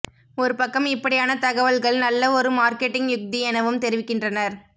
ஒருபக்கம் இப்படியான தகவல்கள் நல்ல ஒரு மார்க்கெட்டிங்க் யுக்தி எனவும் தெரிவிக்கின்றனர்